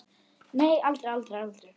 Nei, aldrei, aldrei, aldrei!